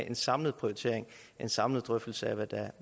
en samlet prioritering en samlet drøftelse af